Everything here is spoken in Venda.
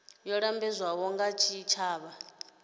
yo lambedzwaho nga tshitshavha i